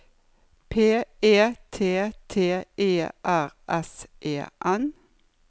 P E T T E R S E N